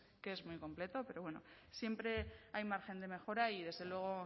que es muy completo pero bueno siempre hay margen de mejora y desde luego